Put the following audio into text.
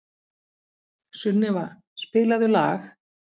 Sunneva, spilaðu lag.